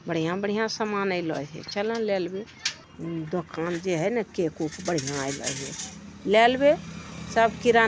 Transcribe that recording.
बढ़िया-बढ़िया सामान एला हई चला ने ला लेवे दुकान जे हई ना केक वुक बढ़िया एले हई ला लेवे सब किराना --